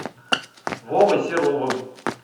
вовой серовым